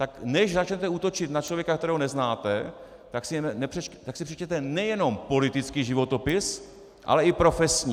Tak než začnete útočit na člověka, kterého neznáte, tak si přečtěte nejenom politický životopis, ale i profesní.